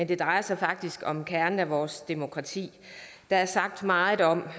det drejer sig faktisk om kernen i vores demokrati der er sagt meget om